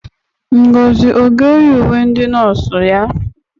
Ngozi ọ ga-eyi uwe ndị nọọsụ ya?